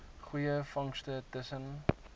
goeie vangste tussen